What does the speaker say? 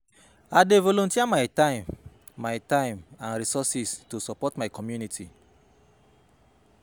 I dey volunteer my time my time and resources to support my community.